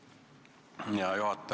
Hea juhataja!